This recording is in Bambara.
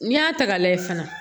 N'i y'a ta ka lajɛ fana